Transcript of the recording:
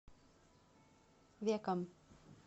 веком